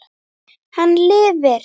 Hann lifi!